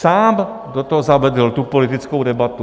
Sám do toho zavedl tu politickou debatu.